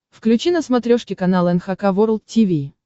включи на смотрешке канал эн эйч кей волд ти ви